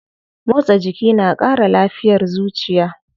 Motsa jiki na kara lafiyar zuciya.